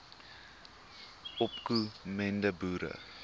opko mende boere